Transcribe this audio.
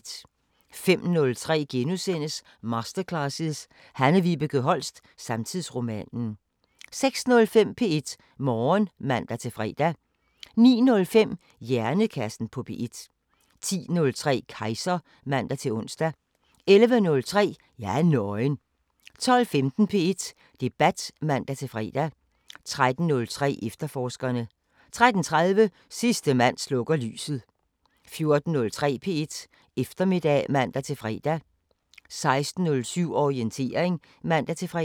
05:03: Masterclasses – Hanne Vibeke Holst: Samtidsromanen * 06:05: P1 Morgen (man-fre) 09:05: Hjernekassen på P1 10:03: Kejser (man-ons) 11:03: Jeg er nøgen 12:15: P1 Debat (man-fre) 13:03: Efterforskerne 13:30: Sidste mand slukker lyset 14:03: P1 Eftermiddag (man-fre) 16:07: Orientering (man-fre)